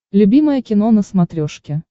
любимое кино на смотрешке